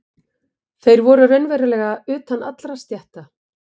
Þeir voru raunverulega utan allra stétta.